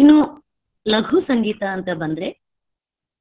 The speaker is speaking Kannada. ಇನ್ನು ಲಘು ಸಂಗೀತ ಅಂತ ಬಂದ್ರೆ.